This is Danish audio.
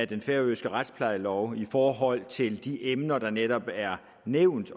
den færøske retsplejelov i forhold til de emner der netop er nævnt